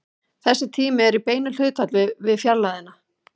Þessi tími er í beinu hlutfalli við fjarlægðina.